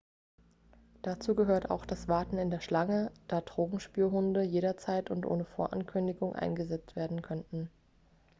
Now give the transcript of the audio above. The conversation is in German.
dazu gehört auch das warten in der schlange da drogenspürhunde jederzeit und ohne vorankündigung eingesetzt werden könnten